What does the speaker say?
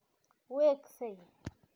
Weksei